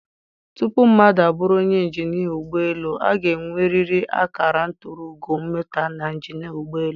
Tupu mmadụ abụrụ onye injinia ụgbọ elu, ọ ga-enwerịrị akara nturu ugo mmụta na injinia ụgbọ elu.